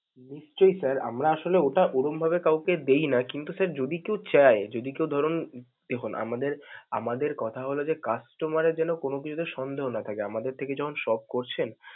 নিশ্চয়ই sir, আমরা আসলে ওটা ওরকমভাবে কাউকে দেই না কিন্তু sir যদি কেউ চায়, যদি কেউ ধরুন দেখুন, আমাদের আমাদের কথা হল যে customer এর যেনো কোনো কিছুতে সন্দেহ না থাকে. আমাদের থেকে যখন shop করছেন.